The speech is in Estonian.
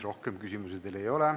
Rohkem küsimusi teile ei ole.